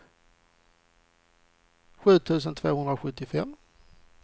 sju tusen tvåhundrasjuttiofem